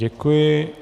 Děkuji.